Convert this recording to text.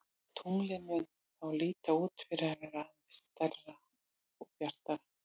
Tunglið mun þá líta út fyrir að vera aðeins stærra og bjartara.